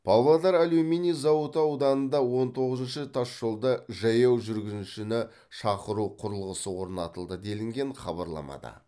павлодар алюминий зауыты ауданында он тоғызыншы тасжолда жаяу жүргіншіні шақыру құрылғысы орнатылды делінген хабарламада